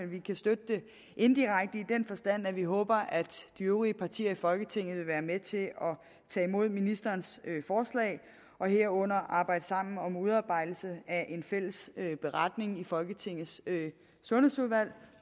vi kan støtte det indirekte i den forstand at vi håber at de øvrige partier i folketinget vil være med til at tage imod ministerens forslag herunder arbejde sammen om udarbejdelse af en fælles beretning i folketingets sundhedsudvalg